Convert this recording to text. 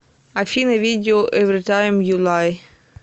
афина видео эвритайм ю лай